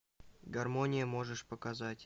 гармония можешь показать